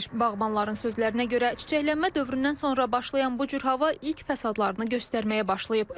Bağbanların sözlərinə görə, çiçəklənmə dövründən sonra başlayan bu cür hava ilk fəsadlarını göstərməyə başlayıb.